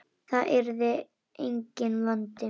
Það yrði enginn vandi.